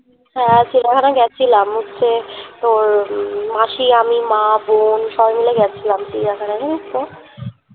হ্যা চিড়িয়াখানা গেছিলাম হচ্ছে তোর উম মাসি আমি মা বোন সবাই মিলে যাচ্ছিলাম চিড়িয়াখানা জানিস তো